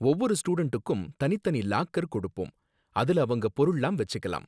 ஒவ்வொரு ஸ்டூடண்டுக்கும் தனித்தனி லாக்கர் கொடுப்போம், அதுல அவங்க பொருள்லாம் வெச்சிக்கலாம்.